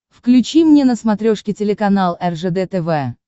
включи мне на смотрешке телеканал ржд тв